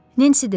Nensi dedi: